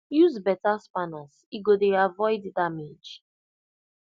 use betta spanners e go dey avoid damage